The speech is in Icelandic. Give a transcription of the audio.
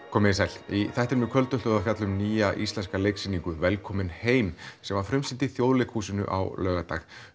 komiði sæl í þættinum í kvöld ætlum við að fjalla um nýja íslenska leiksýningu velkomin heim sem var frumsýnd í Þjóðleikhúsinu á laugardag